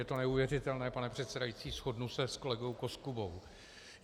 Je to neuvěřitelné, pane předsedající, shodnu se s kolegou Koskubou.